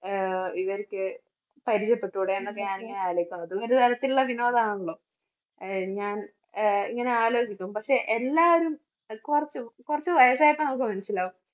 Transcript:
ആഹ് ഇവർക്ക് അതും ഒരു തരത്തിലുള്ള വിനോദം ആണല്ലോ. ആഹ് ഞാൻ അഹ് ഇങ്ങനെ ആലോചിക്കും പക്ഷേ എല്ലാവരും കുറച്ച് കുറച്ച് വയസ്സായി കഴിയുമ്പോൾ മനസ്സിലാകും